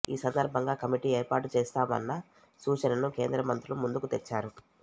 ఈ సందర్భంగా కమిటీ ఏర్పాటు చేస్తామన్న సూచనను కేంద్ర మంత్రులు ముందుకు తెచ్చారు